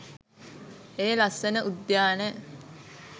ඒ ලස්සන උද්‍යානය